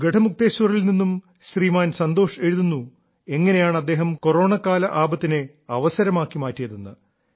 ഗഢമുക്തേശ്വറിൽ നിന്നും ശ്രീമാൻ സന്തോഷ് എഴുതുന്നു എങ്ങനെയാണ് അദ്ദേഹം കൊറോണക്കാല ആപത്തിനെ അവസരമാക്കി മാറ്റിയതെന്ന്